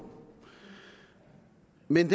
men